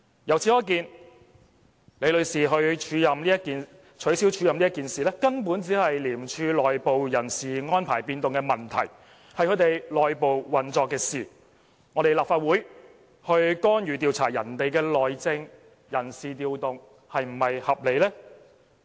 由此可見，取消李女士署任一事，根本只是廉署內部的人事安排變動問題，是署方內部運作的事，由我們立法會去干預調查別人的內政、人事調動是否合理呢？